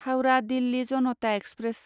Howrah Delhi Janata express